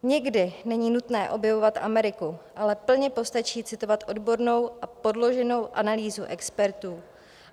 Někdy není nutné objevovat Ameriku, ale plně postačí citovat odbornou a podloženou analýzu expertů.